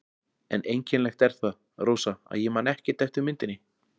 En einkennilegt er það, Rósa, að ég man ekkert eftir myndinni.